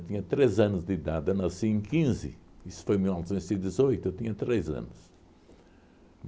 Eu tinha três anos de idade, eu nasci em quinze, isso foi em mil novecentos e dezoito, eu tinha três anos.